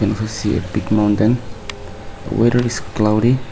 it was a big mountain the weather is cloudy.